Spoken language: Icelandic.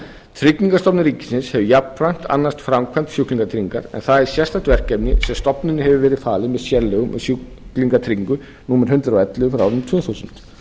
tryggingastofnun ríkisins sem jafnframt annast framkvæmd sjúklingatryggingar en það er sérstakt verkefni sem stofnuninni hefur verið falin með sérlögum og sjúklingatryggingu númer hundrað og ellefu tvö þúsund